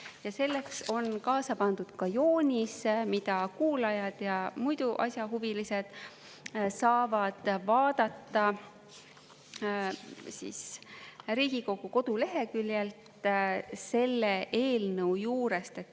Ja selleks on kaasa pandud ka joonis, mida kuulajad ja muidu asjahuvilised saavad vaadata Riigikogu koduleheküljelt selle eelnõu juurest.